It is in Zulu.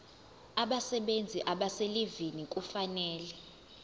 abasebenzi abaselivini kufanele